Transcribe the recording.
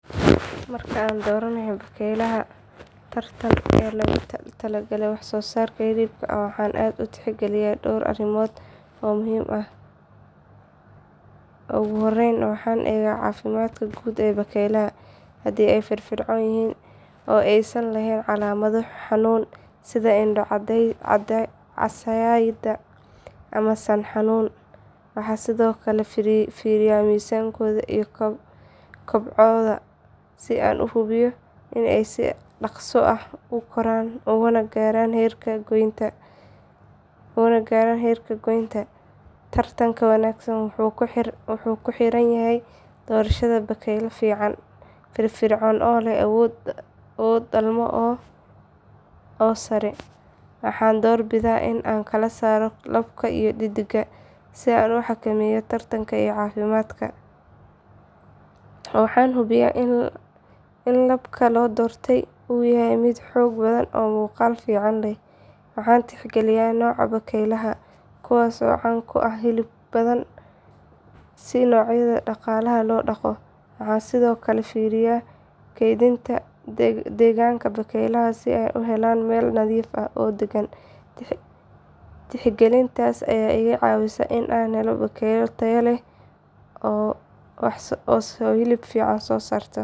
Marka aan dooranayo bakaylaha taranta ee loogu talagalay wax soo saarka hilibka waxaan aad u tixgeliyaa dhowr arrimood oo muhiim ah. Ugu horreyn waxaan eegaa caafimaadka guud ee bakaylaha, haddii ay firfircoon yihiin oo aysan lahayn calaamado xanuun sida indho casaaday ama san xanuun. Waxaan sidoo kale fiiriyaa miisaankooda iyo kobocooda si aan u hubiyo in ay si dhakhso ah u koraan una gaaraan heerka goynta. Taranka wanaagsan wuxuu ku xiran yahay doorashada bakayl firfircoon oo leh awoodo dhalmo oo sare. Waxaan doorbidaa in aan kala saaro labka iyo dheddigga si aan u xakameeyo taranka iyo caafimaadka. Waxaan hubiyaa in labka la doortay uu yahay mid xoog badan oo muuqaal fiican leh. Waxaan tixgeliyaa nooca bakaylaha, kuwaas oo caan ku ah hilib badan sida noocyada dhaqaalaha loo dhaqdo. Waxaan sidoo kale fiiriyaa kaydinta iyo degaanka bakaylaha, si ay u helaan meel nadiif ah oo degan. Tixgelintaas ayaa iga caawisa in aan helo bakaylo tayo leh oo soo saara hilib fiican.